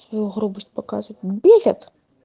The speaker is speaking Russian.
свою грубость показывает бесит